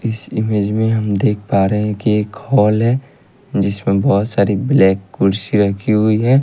इस इमेज में हम देख पा रहे हैं कि एक हॉल है जिसमें बहोत सारी ब्लैक कुर्सी राखी हुई है।